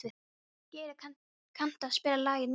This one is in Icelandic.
Geiri, kanntu að spila lagið „Nýbúinn“?